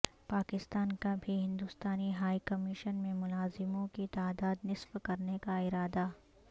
پاکستان کا بھی ہندوستانی ہائی کمیشن میں ملازموں کی تعداد نصف کرنے کا ارادہ